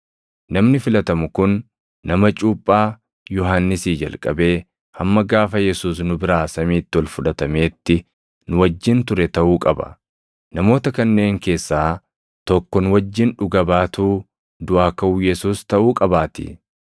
namni filatamu kun nama cuuphaa Yohannisii jalqabee hamma gaafa Yesuus nu biraa samiitti ol fudhatameetti nu wajjin ture taʼuu qaba. Namoota kanneen keessaa tokko nu wajjin dhuga baatuu duʼaa kaʼuu Yesuus taʼuu qabaatii.”